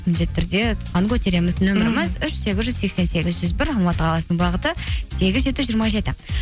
міндетті түрде тұтқаны көтереміз үш сегіз жүз сексен сегіз жүз бір алматы қаласының бағыты сегіз жеті жиырма жеті